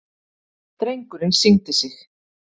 Drengurinn signdi sig.